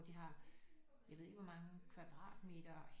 De har jeg ved ikke hvor mange kvadratmeter